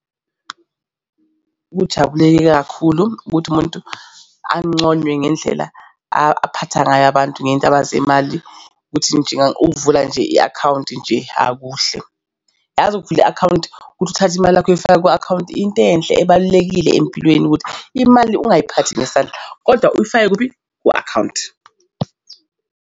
Ngikujabulela kakhulu ukuthi umuntu anconwe ngendlela aphatha ngayo abantu ngendaba zemali ukuthi ukuvula nje i-akhawunti nje, hhayi kuhle. Yazi ukuvula i-akhawunti ukuthi uthathe imali yakho uyifake ku-akhawunti into enhle ebalulekile empilweni ukuthi imali ungayiphathi ngesandla, kodwa uyifake kuphi ku-akhawunti.